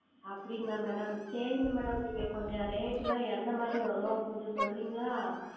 அப்படிங்களா Madam சேரிங்க Madam நீங்க கொஞ்சம் Rate ல்லாம் எந்த மாதிரி வரும் கொஞ்சம் சொல்றீங்களா?